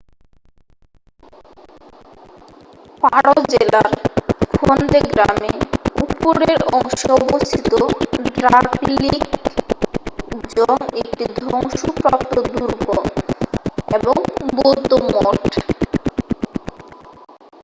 পারো জেলার ফন্দে গ্রামে উপরের অংশে অবস্থিত ড্রাকগিল জং একটি ধ্বংসপ্রাপ্ত দুর্গ এবং বৌদ্ধ মঠ।